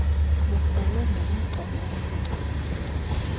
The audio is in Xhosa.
bukrolwe ngemigcana emincinci